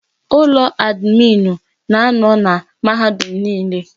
Ulọ amiinụ na-anọ na mahadum niile.